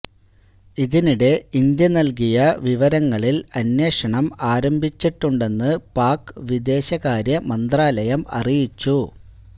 ഇതിനിടെ ഇന്ത്യ നൽകിയ വിവരങ്ങളിൽ അന്വേഷണം ആരംഭിച്ചിട്ടുണ്ടെന്ന് പാക് വിദേശകാര്യ മന്ത്രാലയം അറിയിച്ചു